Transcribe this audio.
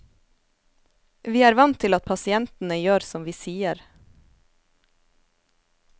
Vi er vant til at pasientene gjør som vi sier.